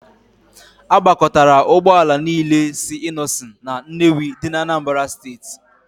A gbakọtara Ụgbọ ala niile si Innoson na Nnewi dị n'Anambra steeti.